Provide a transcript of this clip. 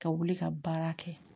Ka wuli ka baara kɛ